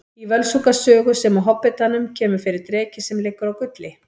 Í Völsunga sögu sem og Hobbitanum kemur fyrir dreki sem liggur á gulli.